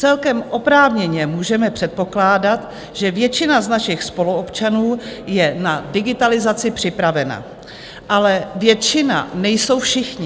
Celkem oprávněně můžeme předpokládat, že většina z našich spoluobčanů je na digitalizaci připravena, ale většina nejsou všichni.